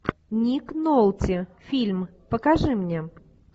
ник нолти фильм покажи мне